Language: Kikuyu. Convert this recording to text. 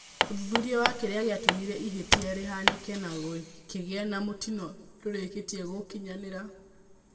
Ũthuthuria wa kĩrĩa gĩatũmire ihĩtia rĩhanĩke na gukĩgĩa ma mũtino ndũrĩkĩtie gũkinyanĩra.